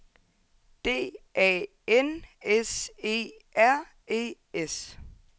D A N S E R E S